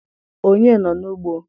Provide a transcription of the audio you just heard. Onye nọ n'ugbo?